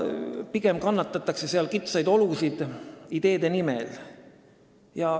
Pigem kannatatakse seal kitsaid olusid ideede nimel.